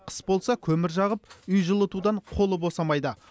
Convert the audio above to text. қыс болса көмір жағып үй жылытудан қолы босамайды